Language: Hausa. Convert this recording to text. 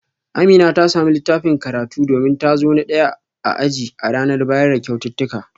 Amina ta samu littafin karatu domin ta zo na daya a aji a ranar bayar da kyaututtuka